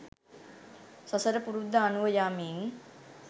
සසර පුරුද්ද අනුව යමින්